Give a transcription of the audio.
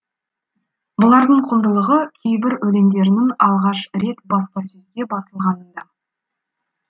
бұлардың құндылығы кейбір өлеңдерінің алғаш рет баспасөзге басылғанында